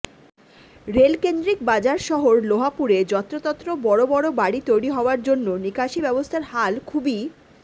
রেলকেন্দ্রিক বাজার শহর লোহাপুরে যত্রতত্র বড় বড় বাড়ি তৈরি হওয়ার জন্য নিকাশি ব্যবস্থার হাল খুবই